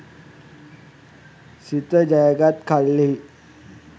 සිත ජයගත් කල්හි